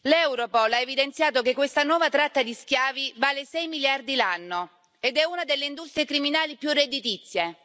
Europol ha evidenziato che questa nuova tratta di schiavi vale sei miliardi l'anno ed è una delle industrie criminali più redditizie.